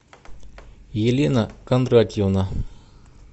елена кондратьевна